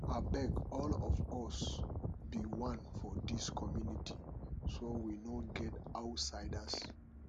abeg all of us be one for dis community so we no get outsiders